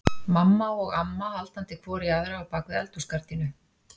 Mamma og amma haldandi hvor í aðra á bak við eldhúsgardínu.